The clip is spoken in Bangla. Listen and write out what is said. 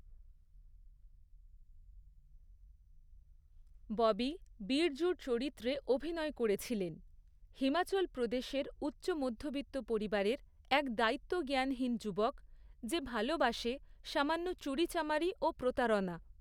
ববি বিরজূর চরিত্রে অভিনয় করেছিলেন, হিমাচল প্রদেশের উচ্চ মধ্যবিত্ত পরিবারের এক দায়িত্বজ্ঞানহীন যুবক, যে ভালবাসে সামান্য চুরিচামারি ও প্রতারণা।